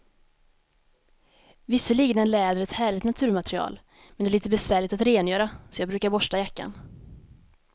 Visserligen är läder ett härligt naturmaterial, men det är lite besvärligt att rengöra, så jag brukar borsta jackan.